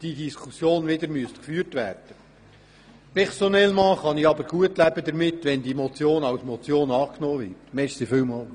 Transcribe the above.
Personellement kann ich gut damit leben, wenn der Vorstoss als Motion überwiesen wird.